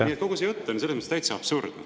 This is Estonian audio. Nii et kogu see jutt on selles mõttes täitsa absurdne.